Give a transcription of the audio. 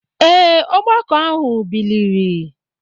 ee, ọgbakọ ahụ biliri.